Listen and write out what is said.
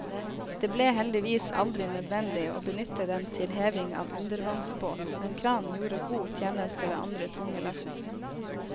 Det ble heldigvis aldri nødvendig å benytte den til heving av undervannsbåt, men kranen gjorde god tjeneste ved andre tunge løft.